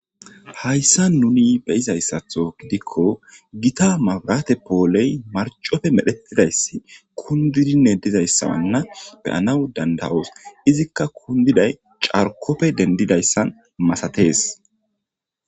Hayissanni nuni be'izayisaththo gidikko Gita mabirate poleyi mariccoppe medhdhetidayiss kunididinne dizayissa nne be'anawu danida'oss.izzikka kunididayis carikkoppe gidanasu masatees.